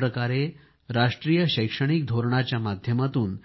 ज्या प्रकारे राष्ट्रीय शैक्षणिक धोरणाच्या माध्यमातून